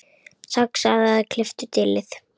Saxaðu eða klipptu dillið.